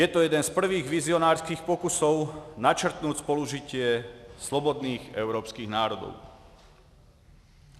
Je to jeden z prvních vizionářských pokusů načrtnout soužití svobodných evropských národů.